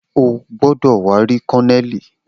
O gbọdọ wa ri Kolonelii!